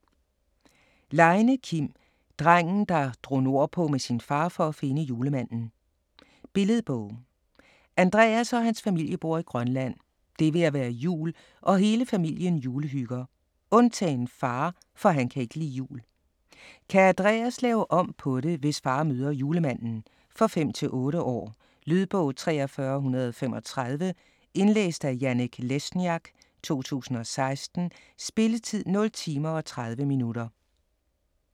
Leine, Kim: Drengen der drog nordpå med sin far for at finde julemanden Billedbog. Andreas og hans familie bor i Grønland. Det er ved at være jul, og hele familien julehygger. Undtagen far, for han kan ikke lide jul. Kan Andreas lave om på det, hvis far møder Julemanden? For 5-8 år. Lydbog 43135 Indlæst af Janek Lesniak, 2016. Spilletid: 0 timer, 30 minutter.